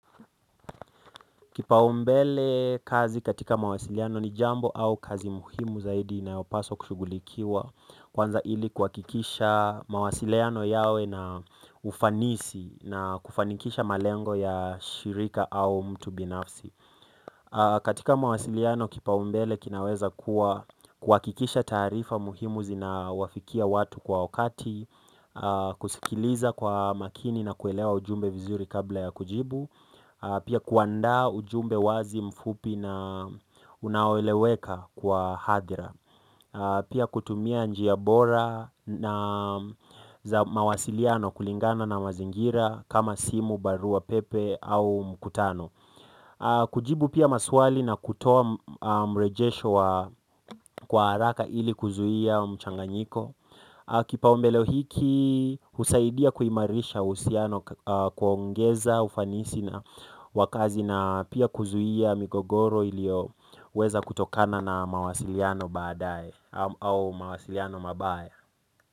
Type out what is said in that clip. Kipaumbele kazi katika mawasiliano ni jambo au kazi muhimu zaidi na inayopaswa kushugulikiwa kwanza ili kuhakikisha mawasiliano yao ina ufanisi na kufanikisha malengo ya shirika au mtu binafsi. Katika mawasiliano kipaumbele kinaweza kuwa kuhakikisha taarifa muhimu zinawafikia watu kwa wakati kusikiliza kwa makini na kuelewa ujumbe vizuri kabla ya kujibu pia kuandaa ujumbe wazi mfupi na unaoleweka kwa hadhira pia kutumia njia bora na za mawasiliano kulingana na mazingira kama simu, barua, pepe au mkutano. Kujibu pia maswali na kutoa mrejesho wa kwa haraka ili kuzuia mchanganyiko. Kipo mbele hiki husaidia kuimarisha uhusiano kuongeza ufanisi na wa kazi na pia kuzuia migogoro iliyoweza kutokana na mawasiliano baadaye au mawasiliano mabaya.